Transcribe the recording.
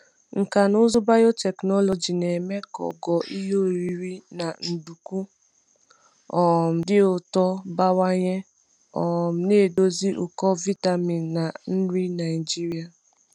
Nkà na ụzụ biotechnology na-eme ka ogo ihe oriri na nduku um dị ụtọ bawanye, um na-edozi ụkọ vitamin na nri Naijiria.